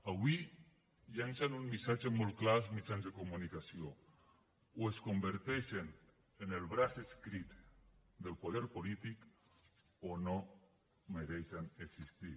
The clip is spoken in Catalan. avui llencen un missatge molt clar als mitjans de comunicació o es converteixen en el braç escrit del poder polític o no mereixen existir